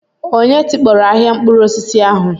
Onye tikpọrọ ahịa mkpụrụ osisi ahu?